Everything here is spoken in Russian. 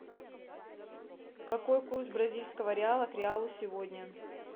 какой курс бразильского реала к реалу сегодня